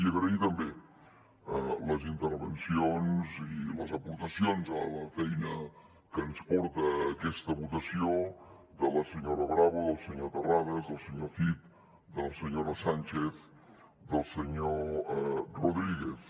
i agrair també les intervencions i les aportacions a la feina que ens porta a aquesta votació de la senyora bravo del senyor terrades del senyor cid de la senyora sánchez del senyor rodríguez